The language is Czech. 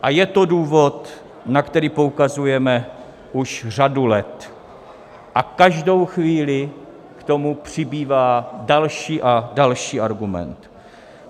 A je to důvod, na který poukazujeme už řadu let, a každou chvíli k tomu přibývá další a další argument.